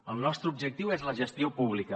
el nostre objectiu és la gestió pública